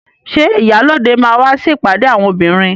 Ṣé ìyálóde máa wá sí ìpàdé àwọn obìnrin?